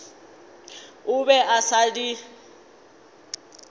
o be a sa di